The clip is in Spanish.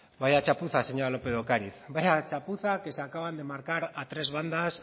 vaya chapuza señora lópez de ocariz vaya chapuza que se acaban de marcar a tres bandas